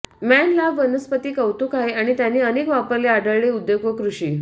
man लांब वनस्पती कौतुक आहे आणि त्यांना अनेक वापरले आढळले उद्योग व कृषी